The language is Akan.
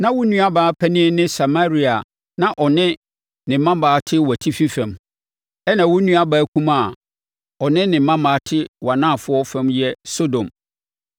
Na wo nuabaa panin ne Samaria a na ɔne ne mmammaa te wʼatifi fam, ɛnna wo nuabaa kumaa a ɔne ne mmammaa te wʼanafoɔ fam yɛ Sodom.